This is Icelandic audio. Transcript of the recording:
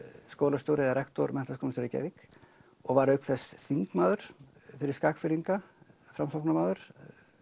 skólastjóri eða rektor Menntaskólans í Reykjavík og var auk þess þingmaður fyrir Skagfirðinga Framsóknarmaður